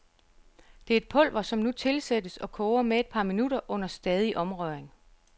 Det er et pulver, som nu tilsættes og koger med et par minutter under stadig omrøring.